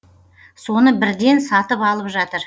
соны бірден сатып алып жатыр